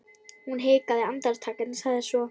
Hún hikaði andartak en sagði svo